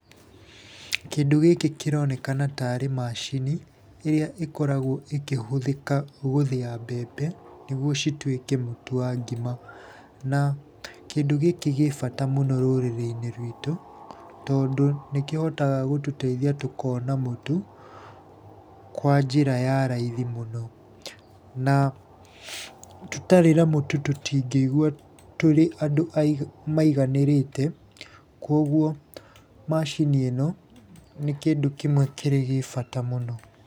Kĩndũ gĩkĩ kĩronekana tarĩ macini ĩrĩa ĩkoragwo ĩkĩhũthĩka gũthĩa mbembe, nĩguo cituĩke mũtu wa ngima. Na kĩndũ gĩkĩ gĩ bata mũno rũrĩrĩ-inĩ ruitũ tondũ nĩkĩhotaga gũtũteithia tũkona mũtu kwa njĩra ya raithi mũno. Na tũtarĩ na mũtu tũtingĩigua tũrĩ andũ maiganĩrĩte, kwoguo macini ĩno nĩ kĩndũ kĩmwe kĩrĩgĩ bata mũno.